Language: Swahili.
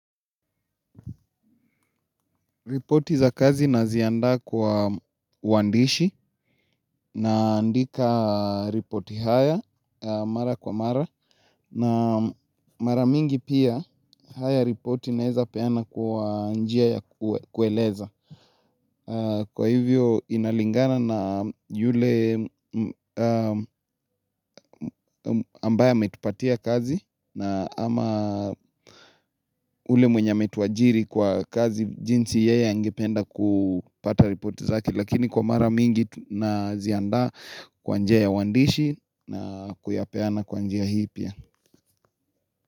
Ripoti za kazi nazianda kwa wandishi nandika ripoti haya mara kwa mara na mara mingi pia haya ripoti neza pena kwa njia ya kueleza. Kwa hivyo inalingana na yule ambaye ametupatia kazi na ama ule mwenye ametuajiri kwa kazi jinsi yeye angependa kupata ripoti zake. Lakini kwa mara mingi nazianda kwa njiya wandishi na kuyapeana kwa njeya hipia.